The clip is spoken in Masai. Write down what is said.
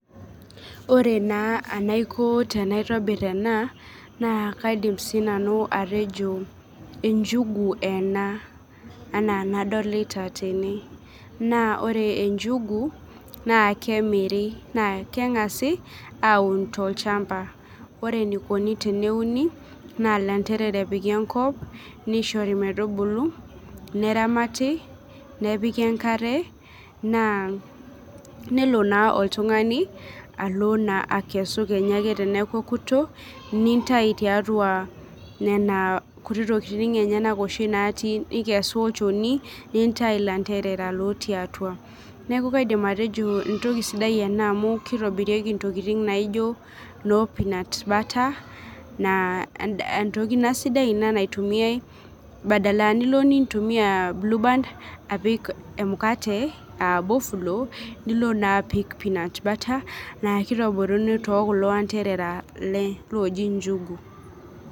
Ore naa enaiko tenaitobir ena naa kaidim sinanu atejo, enjugu ena enaa enadolita tene. Naa ore enjigu naa kemiri naa kangasi aaun tol'chamba. Ore enikoni tene uni naa ilanterera epik enkop, nishori metubulu, neramati, nepik enkare nelo naa oltungani alo naa akesu kenyake teneeku eotok, nintayu tiatua nena kutiti tokitin enyanak oshi natii, nikesu olchoni, nintayu ilanterera lotii atua. Neeku kaidim atejo entoki sidai ena amu kitobirieki intokitin naijo noo peanut butter naa entoki ina naitumiyai badala nilo nintumiya blue band apik emukate aa bofulo nilo naa apik peanut naa kitobiruni tekulo anterera looji njugu.